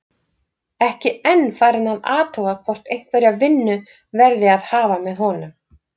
Ekki enn farinn að athuga hvort einhverja vinnu verði að hafa með honum.